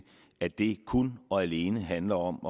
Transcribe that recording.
at det kun og alene handler om